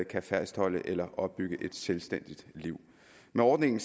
kan fastholde eller opbygge et selvstændigt liv med ordningen